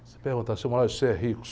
Você pergunta, senhor, você é rico?